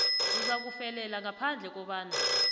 uzakufelela ngaphandle kobana